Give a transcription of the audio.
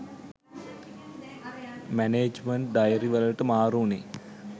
management diary වලට මාරු උනේ